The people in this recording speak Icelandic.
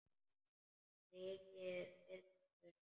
Rykið þyrlast upp.